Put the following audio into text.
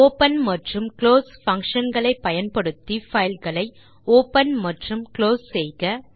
open மற்றும் close function களை பயன்படுத்தி பைல் களை ஒப்பன் மற்றும் குளோஸ் செய்க